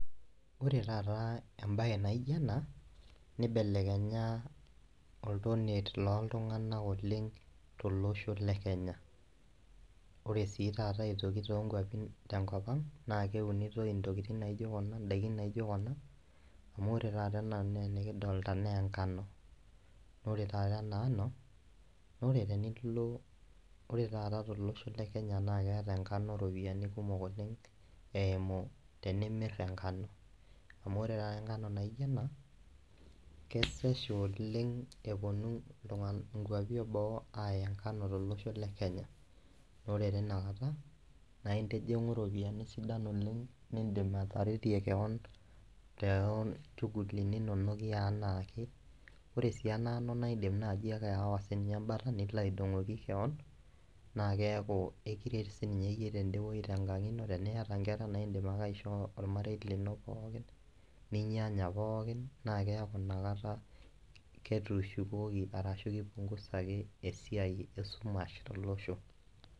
Ore taata embae naijo ena , nibelekenya oltonie loltunganak oleng tolosho lekenya . Ore sii taata aitoki toonkwapin , tenkopang naa keunitoi ntokitin naijo kuna, ndaikin naijo kuna amu ore taata enikidolta naa enkano . Ore taata enaa ano naa ore tenilo, ore taata tolosho lekenya naa keeta enkano ropiyiani kumok oleng eimu tenimir enkano , amu ore taata enkano naijo ena kesesh oleng eponu iltungana, inkawapi eboo aya enkano tolosho le kenya naa ore tinakata naa intijingu iropiani sidan oleng nindim ataretie kewon toolchuguliti inono eanake . Ore siiena ano naa indim naji ake aawa embata nilo aidongoki kewon naa keaku ekiret sininye yie tenkang ino , tenaa iyata inkera naa indim ake aishoo ormarei lino pookin, ninyanya pookin naa keaku inakata ketushukoki arashu kipungusaki esiai esumash tolosho.